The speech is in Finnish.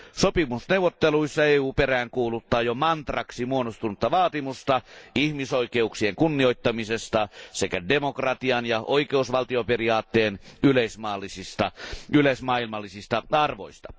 Sopimusneuvotteluissa EU peräänkuuluttaa jo mantraksi muodostunutta vaatimusta ihmisoikeuksien kunnioittamisesta sekä demokratian ja oikeusvaltioperiaatteen yleismaailmallisista arvoista.